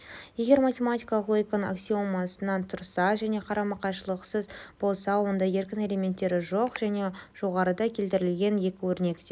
егер математикалық логиканың аксиомасынан тұрса және қарама-қайшылықсыз болса онда еркін элементтері жоқ және жоғарыда келтірілген екі өрнек те